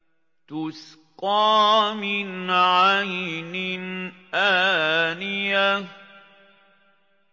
تُسْقَىٰ مِنْ عَيْنٍ آنِيَةٍ